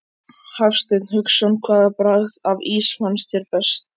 Hafsteinn Hauksson: Hvaða bragð af ís fannst þér vera best?